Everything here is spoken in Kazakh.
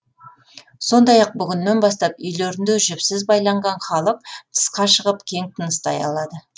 сондай ақ бүгіннен бастап үйлерінде жіпсіз байланған халық тысқа шығып кең тыныстай алады